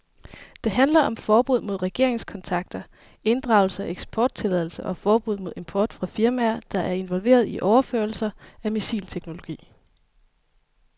Det handler om forbud mod regeringskontakter, inddragelse af eksporttilladelser og forbud mod import fra firmaer, der er involveret i overførelser af missilteknologi.